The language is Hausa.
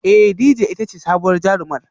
Ee Dejay ita ce sabuwar jarumar